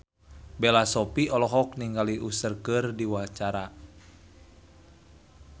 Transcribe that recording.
Bella Shofie olohok ningali Usher keur diwawancara